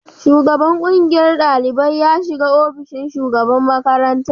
Shugaban ƙungiyar ɗaliban ya shiga ofishin shugaban makarantar